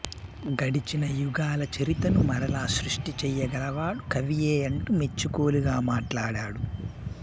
గడచిన యుగాలచరితను మరల సృష్టి చెయ్యగలవాడు కవీయే అంటూ మెచ్చికోలుగా మాట్లాడడు